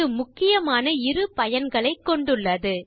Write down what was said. இது முக்கியமான இரு பயன்களைக் கொண்டுள்ளது